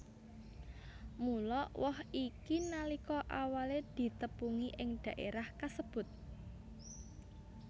Mula woh iki nalika awalé ditepungi ing dhaérah kasebut